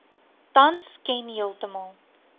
tans ken heeltemal